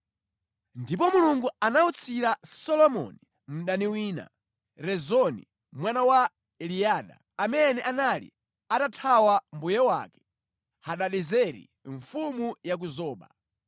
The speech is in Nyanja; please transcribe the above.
Ndipo Mulungu anawutsira Solomoni mdani wina, Rezoni mwana wa Eliada, amene anali atathawa mbuye wake, Hadadezeri mfumu ya ku Zoba.